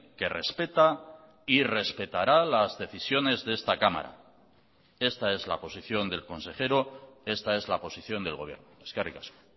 que respeta y respetará las decisiones de esta cámara esta es la posición del consejero esta es la posición del gobierno eskerrik asko